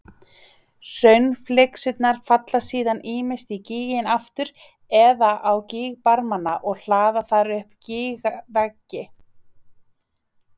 Hraunflygsurnar falla síðan ýmist í gíginn aftur eða á gígbarmana og hlaða þar upp gígveggi.